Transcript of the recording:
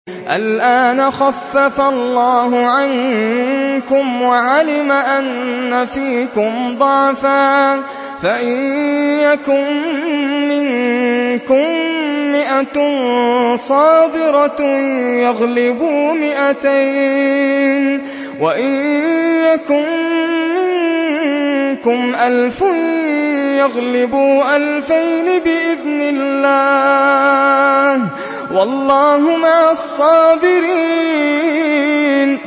الْآنَ خَفَّفَ اللَّهُ عَنكُمْ وَعَلِمَ أَنَّ فِيكُمْ ضَعْفًا ۚ فَإِن يَكُن مِّنكُم مِّائَةٌ صَابِرَةٌ يَغْلِبُوا مِائَتَيْنِ ۚ وَإِن يَكُن مِّنكُمْ أَلْفٌ يَغْلِبُوا أَلْفَيْنِ بِإِذْنِ اللَّهِ ۗ وَاللَّهُ مَعَ الصَّابِرِينَ